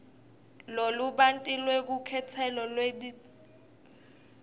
lolubanti lwelukhetselo lwetidzingo